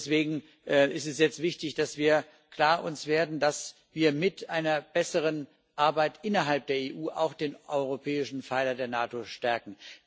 Deswegen ist es jetzt wichtig, dass wir uns klar werden, dass wir mit einer besseren Arbeit innerhalb der EU auch den europäischen Pfeiler der NATO stärken.